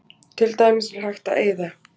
Til dæmis er hægt að eyða